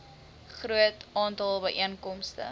groot aantal byeenkomste